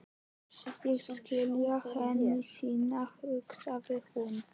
Ég skila henni seinna, hugsaði hún.